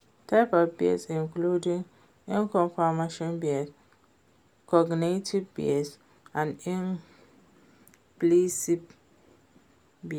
types of bias include confirmation bias, cognitive bias and implicit bias.